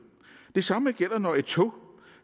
det samme gælder når et tog